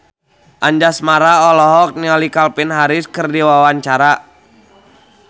Anjasmara olohok ningali Calvin Harris keur diwawancara